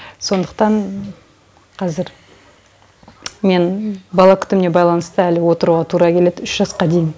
сондықтан қазір мен бала күтіміне байланысты әлі отыруға тура келеді үш жасқа дейін